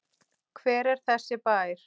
Hver er þessi bær?